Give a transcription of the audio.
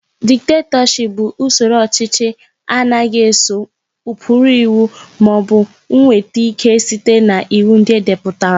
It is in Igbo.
Dịkatọship bụ usoro ọchịchị na-anaghị eso ụkpụrụ iwu maọbụ nweta ị́ké sita n'iwu ndị edepụtara.